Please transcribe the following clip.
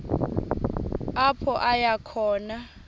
apho aya khona